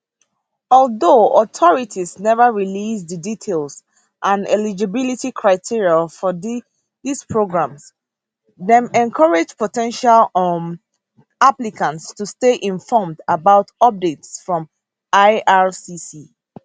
although authorities neva release di details and eligibility criteria for dis programs dem encourage po ten tial um applicants to stay informed about updates from ircc